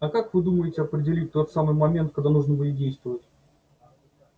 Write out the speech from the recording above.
а как вы думаете определить тот самый момент когда нужно будет действовать